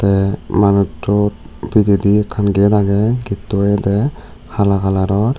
te manuchu pijedi ekkan gate agey getto oyede hala colouror.